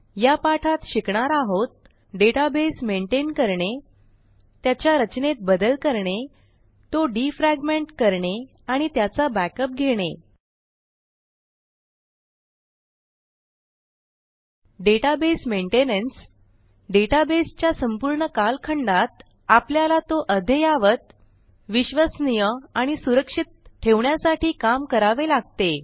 या पाठात शिकणार आहोत डेटाबेस मेनटेन करणे त्याच्या रचनेत बदल करणे तो डिफ्रॅगमेंट करणे आणि त्याचा बॅकअप घेणे डेटाबेस मेनटेनन्स डेटाबेस च्या संपूर्ण कालखंडात आपल्याला तो अद्ययावत विश्वसनीय आणि सुरक्षित ठेवण्यासाठी काम करावे लागते